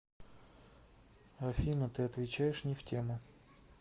афина ты отвечаешь не в тему